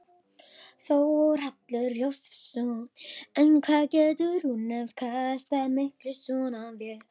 Þórhallur Jósefsson: En hvað getur hún afkastað miklu svona vél?